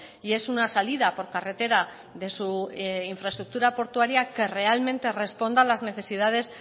y es una salida por carretera de su infraestructura portuaria que realmente responda a las necesidades